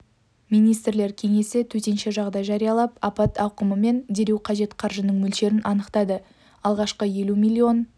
министрлер кеңесі төтенше жағдай жариялап апат ауқымы мен дереу қажет қаржының мөлшерін анықтады алғашқы елу миллион